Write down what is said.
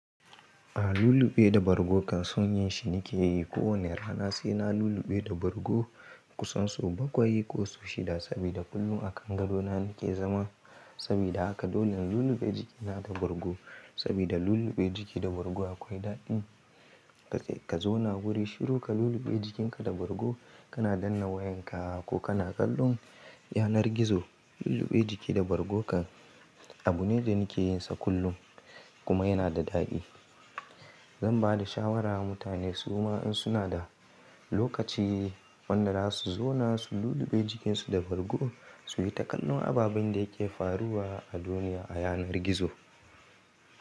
A lulluɓe da bargo kan son yin shi nike yi kowani rana, sai na lulluɓe da bargo kusan sau bakwai ko sau shida saboda kullum a kan gado na nike zama. Sabida haka dolle lulluɓe jiki na da bargo sabida lulluɓe jiki da bargo akwai daɗi. Kazauna guri shiru ka lulluɓe jikinka da bargo kana danna wayanka ko kana kallon yanar gizo. Lulluɓe jiki da bargo kan abu ne da nike yinsa kullum kuma yana da daɗi. Zan ba da shawara wa mutane su ma in suna da lokaci wanda zasu zauna su lulluɓe jikinsu da bargo su yi ta kallon ababen da yake faruwa a duniya a yanar gizo.